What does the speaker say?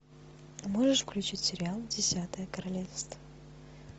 можешь включить сериал десятое королевство